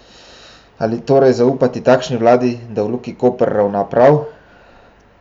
Ali torej zaupati takšni vladi, da v Luki Koper ravna prav?